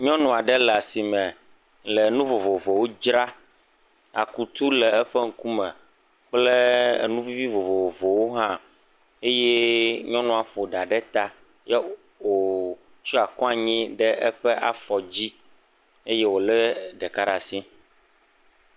Nyɔnua ɖe le asime le nu vovovowo dzra. Akutu le eƒe ŋkume kple enu vi vovovowo hã eye nyɔnua ƒo ɖa ɖe ta ye wo wotsɔ kɔ anyi ɖe eƒe afɔ dzi eye wole ɖeka ɖe asi.